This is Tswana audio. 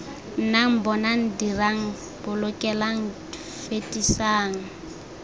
nnang bonang dirang bolokelang fetisang